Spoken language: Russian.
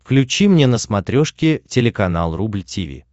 включи мне на смотрешке телеканал рубль ти ви